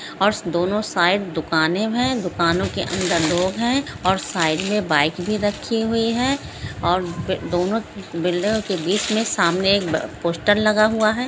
और दोनों साइड दुकाने है दुकानों के अंदर लोग है और साइड में बाइक भी रखी हुई है और बे-दोनों बिल-के बिच में सामने एक ब-पोस्टर लगा हुआ ह।